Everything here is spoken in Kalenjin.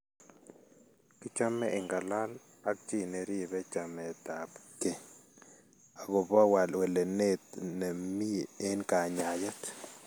Kichome ingalaal ak chii neripe chaametap keey agobo welenet ne miiy en kanyaayet